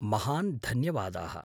महान् धन्यवादाः।